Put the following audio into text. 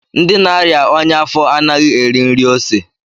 Ndị na-aria ọnya afo anaghị eri nri ose